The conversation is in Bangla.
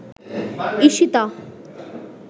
ঈশিতা